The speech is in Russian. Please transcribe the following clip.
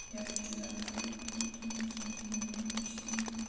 я отвечу завтра уже потому что меня в сон клонит уже очень сильно